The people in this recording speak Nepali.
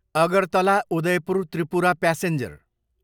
अगरतला, उदयपुर त्रिपुरा प्यासेन्जर